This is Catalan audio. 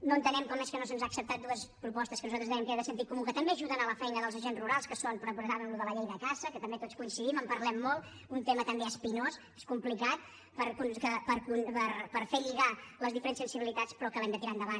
no entenem com és que no se’ns han acceptat dues propostes que nosaltres dèiem que eren de sentit comú que també ajuden a la feina dels agents rurals que són recordàvem allò de la llei de caça que també tots hi coincidim en parlem molt un tema també espinós és complicat per fer lligar les diferents sensibilitats però que l’hem de tirar endavant